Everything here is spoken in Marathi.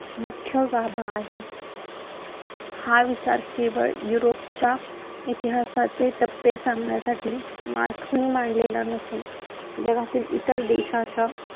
मुख्य गाभा आहे. हा विचार केवळ युरोपच्या इतिहासाचे टप्पे सांगण्यासाठी मार्क्सने मांडलेला नसून जगातील इतर देशाच्या